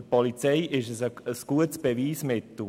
Für die Polizei ist es ein gutes Beweismittel.